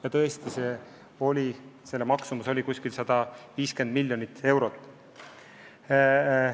Ja tõesti, see läheb maksma umbes 150 miljonit eurot.